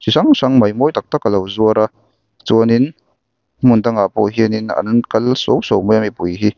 hrang hrang mai mawi tak tak a lo zuar a chuanin hmun dangah pawh hianin an kal suau suau mai a mipui hi--